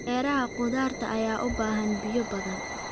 Beeraha khudaarta ayaa u baahan biyo badan.